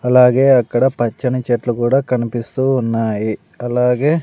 అలాగే అక్కడ పచ్చని చెట్లు గూడా కనిపిస్తూ ఉన్నాయి అలాగే --